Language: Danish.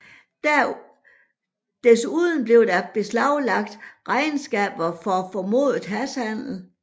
Desuden blev der beslaglagt regnskaber for formodet hashhandel